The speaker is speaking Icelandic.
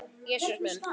Jesús minn.